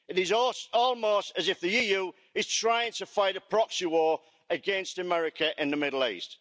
It is almost as if the EU is trying to fight a proxy war against America in the Middle East.